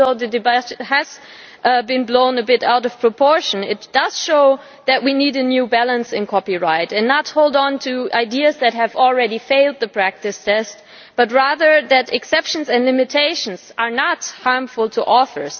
Even though the debate has been blown a bit out of proportion, it does show that we need a new balance in copyright, that we should not hold onto ideas that have already failed the practice test, and that exceptions and limitations are not harmful to authors.